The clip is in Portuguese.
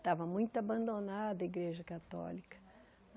que estava muito abandonada a igreja católica.